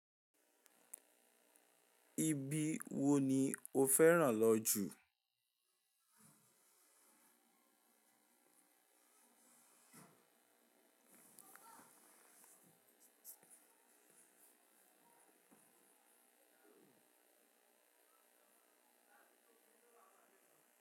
Ibi wo ni o fẹ́ràn lọ jù?